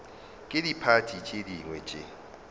ke diphathi tše dingwe tše